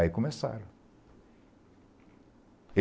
Aí começaram.